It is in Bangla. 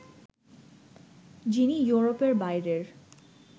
যিনি ইউরোপের বাইরের